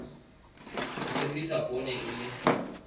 ho sebedisa poone e le